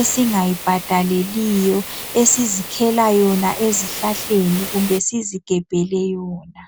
esinga yibhadaleliyo esizikhela yona ezihlahleni kumbe sizigebhele yona.